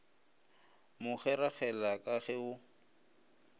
mo kgeregela ka ge go